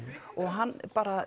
hann